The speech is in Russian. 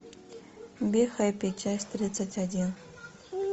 бихэппи часть тридцать один